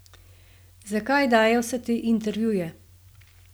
Zakaj daje vse te intervjuje?